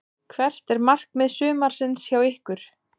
Hvert er markmið sumarsins hjá ykkur?